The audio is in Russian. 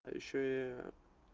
а ещё я